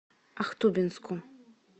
ахтубинску